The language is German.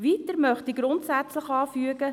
Des Weiteren möchte ich grundsätzlich anfügen: